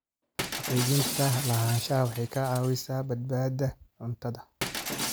Xaqiijinta lahaanshaha waxay ka caawisaa badbaadada cuntada.